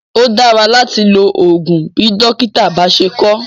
Ó dára láti lo oògùn bí dókítà bá ṣé kọ ọ́.